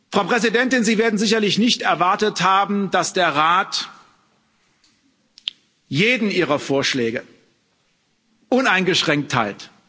Frau Präsidentin, Sie werden sicherlich nicht erwartet haben, dass der Rat jeden Ihrer Vorschläge uneingeschränkt teilt.